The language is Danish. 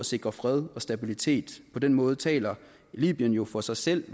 sikre fred og stabilitet på den måde taler libyen jo for sig selv